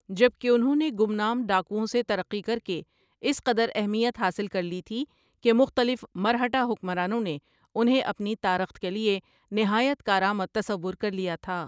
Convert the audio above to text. جب کہ انہوں نے گمنام ڈاکووَں سے ترقی کرکے اس قدر اہمیت حاصل کرلی تھی کہ مختلف مرہٹہ حکمرانوں نے انہیں اپنی تارخت کے لیے نہایت کار آمد تصور کر لیا تھا ۔